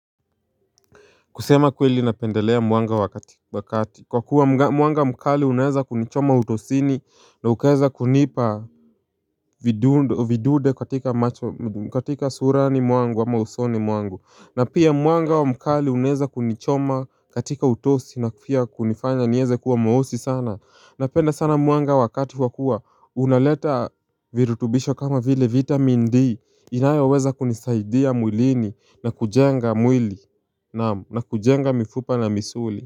Kusema kweli na pendelea mwanga wakati Kwa kuwa mwanga mkali uneza kunichoma utosini na ukeza kunipa vidude katika surani mwangu wa usoni mwangu na pia mwanga wa mkali unaeza kunichoma katika utosi na kufia kunifanya niweze kuwa mweusi sana Napenda sana mwanga wakati kwa kuwa unaleta virutubisho kama vile vitamin D inayo weza kunisaidia mwilini na kujenga mwili na kujenga mifupa na misuli.